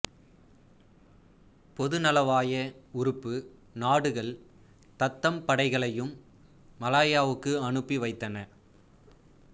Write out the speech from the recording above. பொதுநலவாய உறுப்பு நாடுகள் தத்தம் படைகளையும் மலாயாவுக்கு அனுப்பி வைத்தன